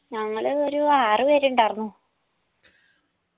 ഞങ്ങള് ഒരു ആറ് പേരുണ്ടാർന്നു